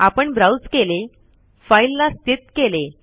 आपण ब्राउज केले फाईल ला स्थित केले